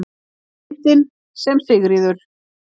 Myndin sem Sigríður